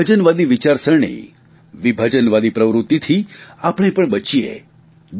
વિભાજનવાદી વિચારણસરણી વિભાજનવાદી પ્રકૃતિથી આપણે પણ બચીએ